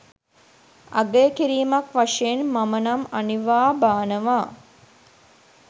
අගය කිරීමක් වශයෙන් මම නම් අනිවා බානවා.